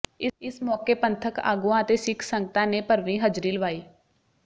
ਇਸ ਮੌਕੇ ਪੰਥਕ ਆਗੂਆਂ ਅਤੇ ਸਿੱਖ ਸੰਗਤਾਂ ਨੇ ਭਰਵੀਂ ਹਜ਼ਰੀ ਲਵਾਈ